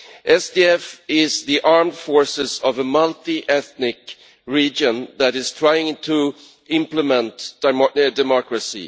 SDF is the armed forces of a multi ethnic region that is trying to implement democracy.